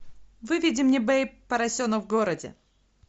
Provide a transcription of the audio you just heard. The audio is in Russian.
выведи мне бэйб поросенок в городе